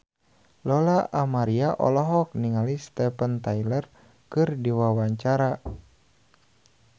Lola Amaria olohok ningali Steven Tyler keur diwawancara